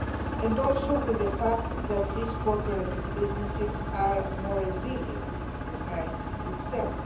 I also agree with the fact that these cooperative businesses are more resilient to the crisis itself.